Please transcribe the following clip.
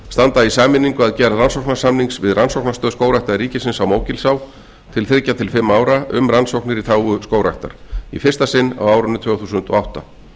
standa í sameiningu að gerð rannsóknarsamnings við rannsóknastöð skógræktar ríkisins á mógilsá til þriggja til fimm ára um rannsóknir í þágu skógræktar í fyrsta sinn á árinu tvö þúsund og átta